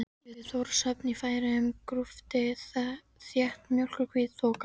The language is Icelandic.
Yfir Þórshöfn í Færeyjum grúfði þétt mjólkurhvít þoka.